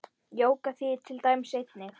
Jóga þýðir til dæmis eining.